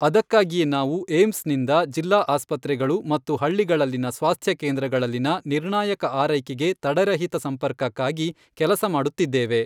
ಅದಕ್ಕಾಗಿಯೇ ನಾವು ಏಮ್ಸ್ ನಿಂದ ಜಿಲ್ಲಾ ಆಸ್ಪತ್ರೆಗಳು ಮತ್ತು ಹಳ್ಳಿಗಳಲ್ಲಿನ ಸ್ವಾಸ್ಥ್ಯ ಕೇಂದ್ರಗಳಲ್ಲಿನ ನಿರ್ಣಾಯಕ ಆರೈಕೆಗೆ ತಡೆರಹಿತ ಸಂಪರ್ಕಕ್ಕಾಗಿ ಕೆಲಸ ಮಾಡುತ್ತಿದ್ದೇವೆ.